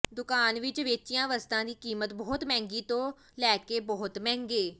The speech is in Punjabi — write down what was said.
ਦੁਕਾਨ ਵਿਚ ਵੇਚੀਆਂ ਵਸਤਾਂ ਦੀ ਕੀਮਤ ਬਹੁਤ ਮਹਿੰਗੀ ਤੋਂ ਲੈ ਕੇ ਬਹੁਤ ਮਹਿੰਗੇ